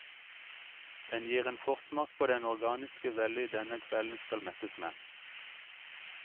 Den gir en forsmak på den organiske vellyd denne kvelden skal mettes med.